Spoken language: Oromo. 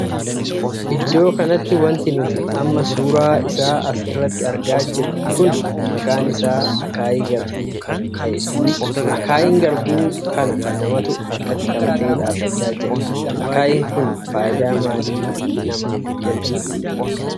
Iddoo kanatti wanti nuti amma suuraa isaa as irratti argaa jirru kun maqaan isaa akaayii garbuu kan tahedha. akaayiin garbuu kana namatu harkatti qabatee dhaabbachaa jira. akaayiin kun faayidaa maalii manaaf kenna?